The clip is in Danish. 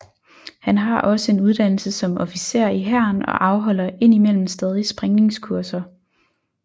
Han har også en uddannelse som officer i hæren og afholder ind imellem stadig sprængningskurser